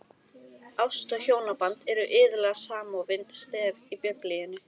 Ást og hjónaband eru iðulega samofin stef í Biblíunni.